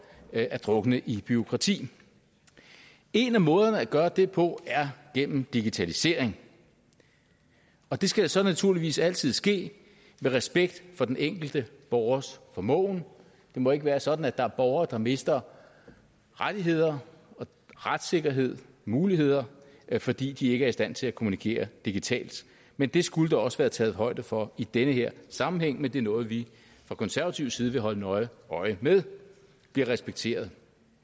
at drukne i bureaukrati en af måderne at gøre det på er gennem digitalisering det skal så naturligvis altid ske med respekt for den enkelte borgers formåen det må ikke være sådan at der er borgere der mister rettigheder retssikkerhed muligheder fordi de ikke er i stand til at kommunikere digitalt men det skulle der også være taget højde for i den her sammenhæng men det er noget vi fra konservativ side vil holde nøje øje med bliver respekteret